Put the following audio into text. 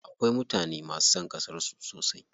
Akwai mutane masu son ƙasar su sosai.